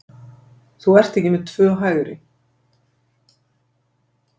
Þú ert ekki með tvö hægri.